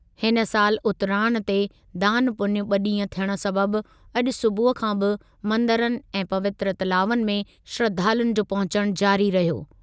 हिन सालि उतराण ते दानु पुञु ॿ ॾींहं थियण सबबि अॼु सूबुह खां बि मंदरनि ऐं पवित्र तलावनि में श्रधालुनि जो पहुचण जारी रहियो।